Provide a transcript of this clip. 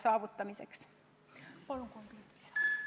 Palun kolm minutit juurde!